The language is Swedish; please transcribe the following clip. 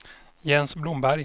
Jens Blomberg